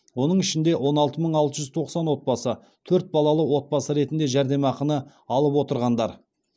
оның ішінде он алты мың алты жүз тоқсан отбасы төрт балалы отбасы ретінде жәрдемақыны алып отырғандар